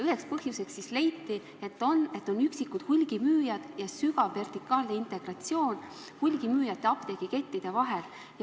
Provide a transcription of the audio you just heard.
Ühe põhjusena leiti, et meil on üksikud hulgimüüjad ja tugev vertikaalne integratsioon hulgimüüjate apteegikettide vahel.